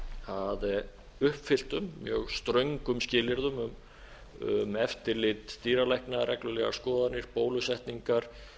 að uppfylltum mjög ströngum skilyrðum um eftirlit dýralækna reglulegar skoðanir bólusetningar að